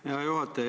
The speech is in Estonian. Hea juhataja!